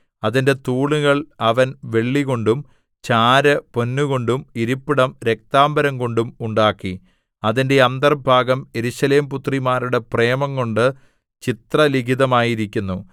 അതിന്റെ തൂണുകൾ അവൻ വെള്ളികൊണ്ടും ചാര് പൊന്നുകൊണ്ടും ഇരിപ്പിടം രക്താംബരംകൊണ്ടും ഉണ്ടാക്കി അതിന്റെ അന്തർഭാഗം യെരൂശലേംപുത്രിമാരുടെ പ്രേമംകൊണ്ട് ചിത്രലിഖിതമായിരിക്കുന്നു